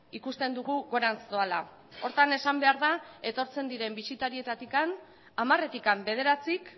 ikusten dugu gorantz doala horretan esan behar da etortzen diren bisitarietatik hamaretik bederatzik